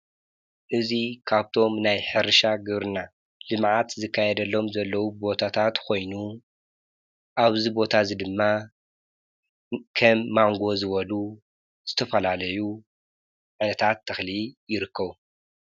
እዚ ኻብቶም ናይ ሕርሻ ግብርና ልምዓት ዝካየደሎም ዘለዉ ቦታታት ኮይኑ ኣብዚ ቦታ እዚ ድማ ከም ማንጎ ዝበሉ ዝተፈላለዩ ዓይነታት ተኽሊ ይርከቡ።